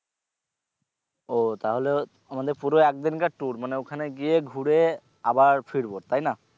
ও তাহলে আমাদের পুরো এক দিনকার tour মানে ওখানে গিয়ে ঘুরে আবার ফিরবো তাই না?